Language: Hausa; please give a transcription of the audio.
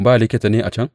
Ba likita ne a can?